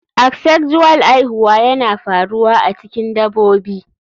Asexual aihuwa yana faruwa a cikin dabobi.